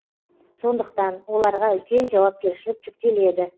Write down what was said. сондықтан оларға үлкен жауапкершілік жүктеледі